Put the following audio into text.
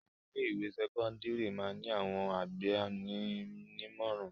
Àwọn ilé-ìwé sẹ́kọ́ndárì máa ń ní àwọn agbani-nímọ̀ràn.